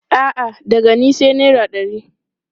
A'a, daga ni sai naira ɗari.